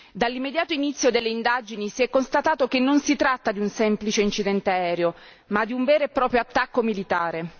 Dall'immediato inizio delle indagini si è constatato che non si tratta di un semplice incidente aereo, ma di un vero e proprio attacco militare.